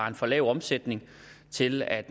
en for lav omsætning til at